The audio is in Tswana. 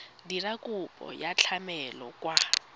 dira kopo ya tlamelo kwa